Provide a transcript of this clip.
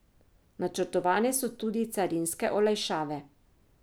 Načrtovane so tudi carinske olajšave.